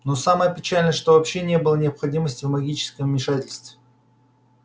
но самое печальное что вообще не было необходимости в магическом вмешательстве